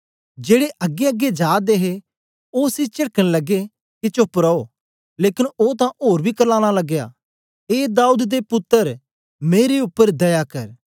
जेड़े अगेंअगें जा दे हे ओ उसी चेडकन लगे के चोप्प रो लेकन ओ तां ओर बी क्र्लानां लगया ए दाऊद दे पुत्तर मेरे उपर दया कर